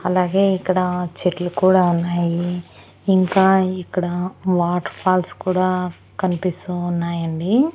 అలాగే ఇక్కడ చెట్లు కూడా ఉన్నాయి ఇంకా ఇక్కడ వాటర్ ఫాల్స్ కూడా కన్పిస్తూ ఉన్నాయండి.